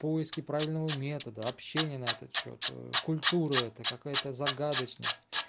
поиски правильного метода общение на этот счёт культуры это какая-то загадочность